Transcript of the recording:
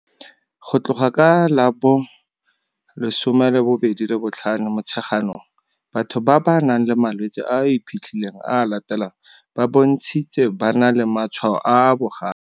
Go tloga ka la bo 25 Motsheganong, batho ba ba nang le malwetse a a iphitlhileng a a latelang ba bontshitse ba na le matshwao a a bogale